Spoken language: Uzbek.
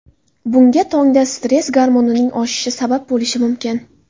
Bunga tongda stress gormonining oshishi sabab bo‘lishi mumkin.